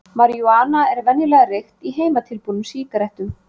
Marijúana er venjulega reykt í heimatilbúnum sígarettum.